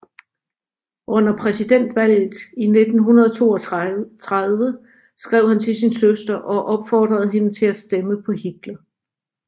Under præsidentvalget i 1932 skrev han til sin søster og opfordrede hende til at stemme på Hitler